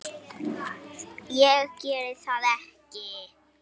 Ég geri það ekki.